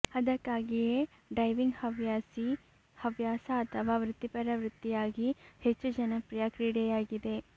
ಅದಕ್ಕಾಗಿಯೇ ಡೈವಿಂಗ್ ಹವ್ಯಾಸಿ ಹವ್ಯಾಸ ಅಥವಾ ವೃತ್ತಿಪರ ವೃತ್ತಿಯಾಗಿ ಹೆಚ್ಚು ಜನಪ್ರಿಯ ಕ್ರೀಡೆಯಾಗಿದೆ